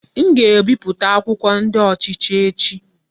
M ga-ebipụta akwụkwọ ndi ochichi echi.